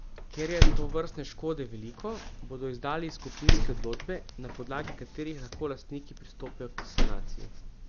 Ker je tovrstne škode veliko, bodo izdali skupinske odločbe, na podlagi katerih lahko lastniki pristopijo k sanaciji.